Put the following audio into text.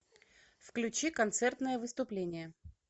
включи концертное выступление